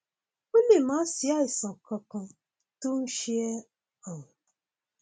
ó lè má sí àìsàn kankan tó ń ṣe ẹ um